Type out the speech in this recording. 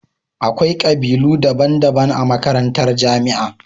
Akwai kabilu daban daban a majakantar jamia